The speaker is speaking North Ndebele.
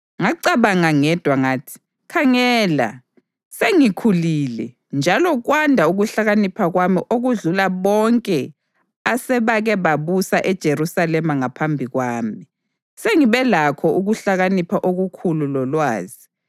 Ngacabanga ngedwa ngathi, “Khangela, sengikhulile njalo kwanda ukuhlakanipha kwami okudlula bonke asebake babusa eJerusalema ngaphambi kwami; sengibe lakho ukuhlakanipha okukhulu lolwazi.”